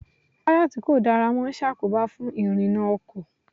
Táyà tí kò dára máa ṣàkóbá fún ìrìnà ọkọ̀.